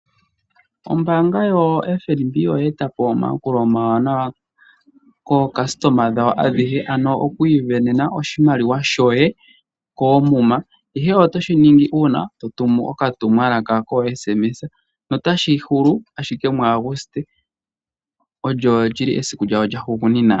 Ombaanga yaFNB oye etapo omayakulo omawanawa kaayakulwa yawo ayehe, ano okwiisindanena oshimaliwa shoye koomuma. Ihe otoshi ningi uuna totumu okatumwalaka koSMS notashi hulu ashike muAguste, olyo lyili esiku lyawo lyahugunina.